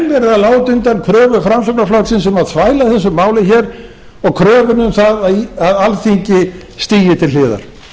að láta undan kröfu framsóknarflokksins um að þvæla þessu máli og kröfunni um það að alþingi til hliðar